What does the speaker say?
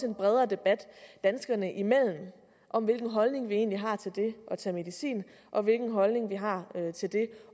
en bredere debat danskerne imellem om hvilken holdning vi egentlig har til det at tage medicin og hvilken holdning vi har til det